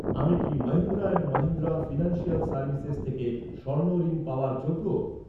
আমি কি Mahindra and Mahindra financial services থেকে স্বর্ণ ঋণ পাওয়ার যোগ্য?